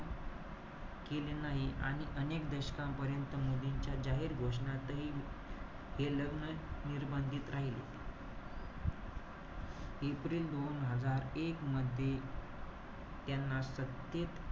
केले नाही. आणि अनेक दशकांपर्यंत मोदींच्या जाहीर घोषणातहि हे लग्न निर्बंधित राहिले. एप्रिल दोन हजार एक मध्ये, त्यांना सत्तेत,